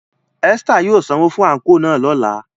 Esther yóò sanwo fun anko náa lọla.